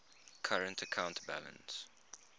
current account balance